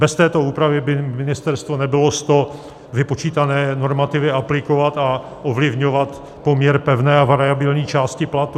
Bez této úpravy by ministerstvo nebylo s to vypočítané normativy aplikovat a ovlivňovat poměr pevné a variabilní části platu.